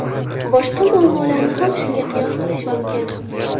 Boshqa muammolarni ham shunga qiyos qilish mumkin.